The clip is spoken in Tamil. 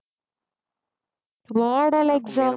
model exam